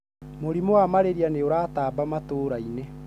Mũrimũ wa malaria nĩ ũratamba matũrainĩ